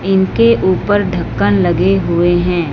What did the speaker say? इनके ऊपर ढक्कन लगे हुए हैं।